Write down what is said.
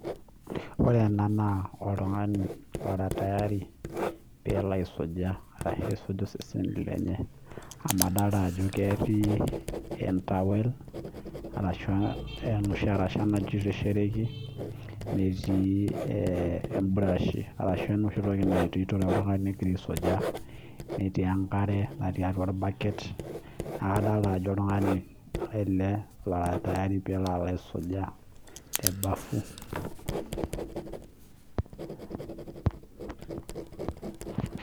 ore ena naa oltungani ogira alo aisuja amuu keeta entawel , osabuni enkarasha najutore, neeta enkare torbaket neeku oltungani ele oloito alo aisuja